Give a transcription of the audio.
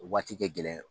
O waati kɛ gɛlɛn